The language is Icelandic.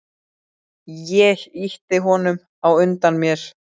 Ég ýti honum á undan mér.